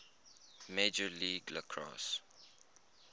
major league lacrosse